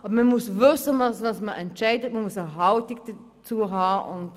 Aber man muss wissen, was man entscheidet und man muss eine Haltung dazu haben.